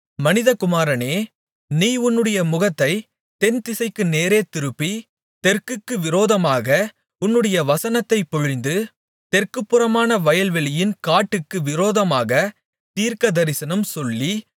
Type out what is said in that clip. மனிதகுமாரனே நீ உன்னுடைய முகத்தைத் தென்திசைக்கு நேரே திருப்பி தெற்குக்கு விரோதமாக உன்னுடைய வசனத்தைப் பொழிந்து தெற்குபுறமான வயல்வெளியின் காட்டுக்கு விரோதமாகத் தீர்க்கதரிசனம் சொல்லி